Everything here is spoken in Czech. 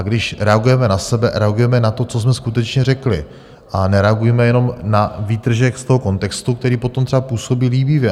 A když reagujeme na sebe, reagujme na to, co jsme skutečně řekli, a nereagujme jenom na výtržek z toho kontextu, který potom třeba působí líbivě.